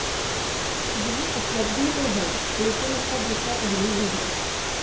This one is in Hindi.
यह उपलब्धि तो है लेकिन इसका दूसरा पहलू भी है